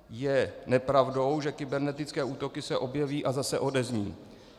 Je nepravdou, že kybernetické útoky se objeví a zase odezní.